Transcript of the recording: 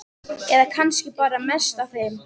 Eða kannski bar bara mest á þeim.